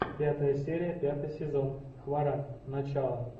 пятая серия пятый сезон хваран начало